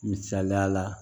Misaliya la